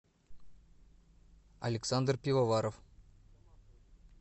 александр пивоваров